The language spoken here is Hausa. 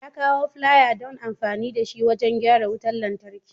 Ya kawo flier don amfani da shi wajen gyara wutar lantarki.